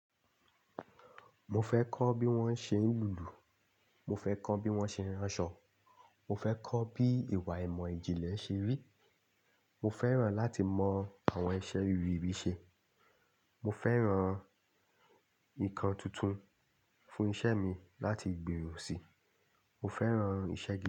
Mo fẹ́ kọ́ bí wọ́n ṣe ń lùlù, mo fẹ́ kọ́ bí wọ́n ṣe ń ránṣọ, mo fẹ́ kọ́ bí ìwà ìmọ̀ ìjìnlẹ̀ ṣe rí, mo fẹ́ràn láti mọ àwọn iṣẹ́ rere bí ṣe, mo fẹ́ran nǹkan tuntun fún iṣẹ́ mi láti gbèrò sí, mo fẹ́ràn ìṣè.